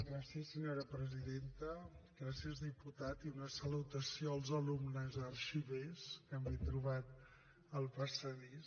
gràcies senyora presidenta gràcies diputat i una salutació als alumnes arxivers que m’he trobat al passadís